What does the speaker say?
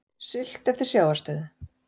Siglt eftir sjávarstöðu